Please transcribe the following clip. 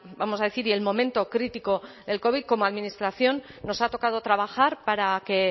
vamos a decir y el momento crítico del covid como administración nos ha tocado trabajar para que